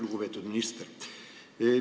Lugupeetud minister!